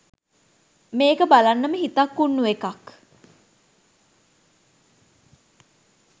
මේක බලන්නම හිතන් උන්නු එකක්.